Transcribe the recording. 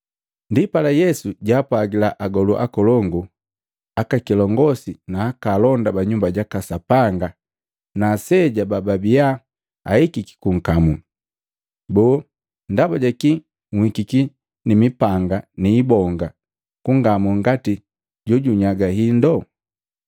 Ndipala Yesu jaapwagila agolu akolongu, aka kilongosi na alonda ba Nyumba jaka Sapanga na aseja bababia ahikiki kunkamuu, “Boo, ndaba jakii nhikiki ni mipanga ni ibonga kungamu ngati jojunyaga hindu?